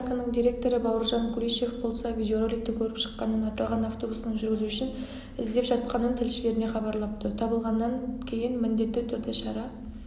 автобус паркінің директоры бауыржан кулишев болса видеороликті көріп шыққанын аталған автобустың жүргізушісін іздеп жатқанын тілшілеріне хабарлапты табылғаннан кеін міндетті түрде шара